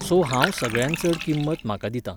So हांव सगळ्यांत चड किंमत म्हाका दितां.